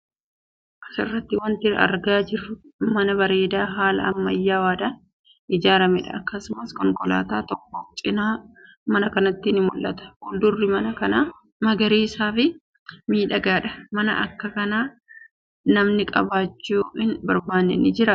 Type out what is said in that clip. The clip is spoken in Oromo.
As irratti wanti argaa jirru mana bareedaa haala ammayyaawaadhaan ijaarameedha. Akkasumas konkolaataan tokko cina mana kanaatti ni mul'atti. Fuuldurri mana kanaa magariisaa fi miidhagaa dha. Mana akka kanaa namni qabaachuu hin barbaanne ni jiraa?